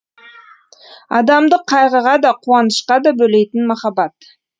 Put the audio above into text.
адамды қайғыға да қуанышқа да бөлейтін махаббат